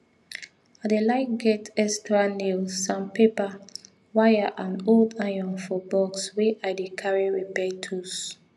i dey like get extra nails and paper wire and old iron for box wey i dey carry repair tools